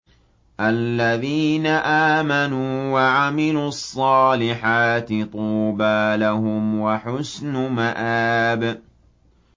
الَّذِينَ آمَنُوا وَعَمِلُوا الصَّالِحَاتِ طُوبَىٰ لَهُمْ وَحُسْنُ مَآبٍ